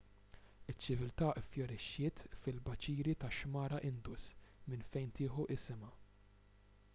iċ-ċiviltà iffjorixxiet fil-baċiri tax-xmara indus minn fejn tieħu isimha